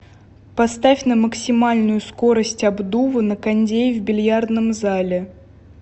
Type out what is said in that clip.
поставь на максимальную скорость обдува на кондее в бильярдном зале